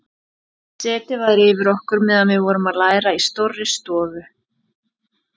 Setið var yfir okkur meðan við vorum að læra í stórri stofu.